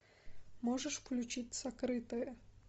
можешь включить сокрытое